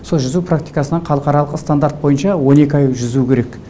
сол жүзу практикасынан халықаралық стандарт бойынша он екі ай жүзу керек